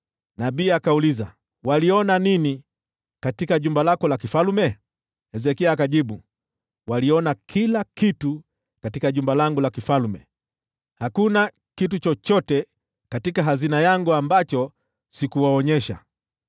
Nabii akauliza, “Waliona nini katika jumba lako la kifalme?” Hezekia akajibu, “Waliona kila kitu katika jumba langu la kifalme. Hakuna kitu chochote katika hazina yangu ambacho sikuwaonyesha.”